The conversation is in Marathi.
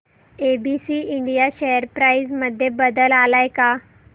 एबीसी इंडिया शेअर प्राइस मध्ये बदल आलाय का